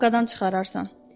Yenə o haqqıdan çıxararsan.